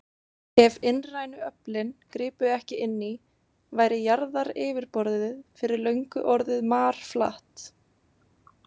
Ef innrænu öflin gripu ekki inn í, væri jarðaryfirborðið fyrir löngu orðið marflatt.